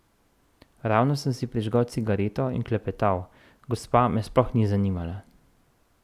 Ravno sem si prižgal cigareto in klepetal, gospa me sploh ni zanimala.